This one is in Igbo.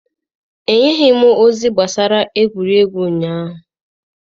Ha enyeghị ozi gbasara egwuregwu ụnyaahụ.